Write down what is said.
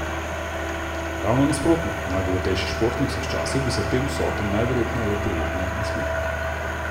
Ravno nasprotno, najbogatejši športnik vseh časov bi se tem vsotam najverjetneje le prijetno nasmehnil.